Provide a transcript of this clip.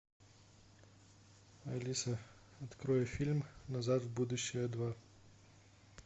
алиса открой фильм назад в будущее два